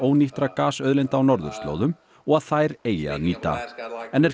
ónýttra gasauðlinda á norðurslóðum og að þær eigi að nýta en er